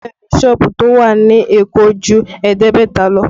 Bẹẹ ni, sọ́ọ̀bù tó wà ní Èkó ju ẹ̀ẹ́dẹ́gbẹ̀ta lọ